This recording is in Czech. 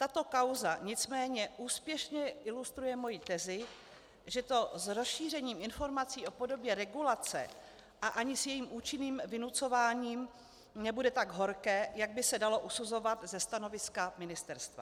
Tato kauza nicméně úspěšně ilustruje moji tezi, že to s rozšířením informací o podobě regulace a ani s jejím účinným vynucováním nebude tak horké, jak by se dalo usuzovat ze stanoviska ministerstva.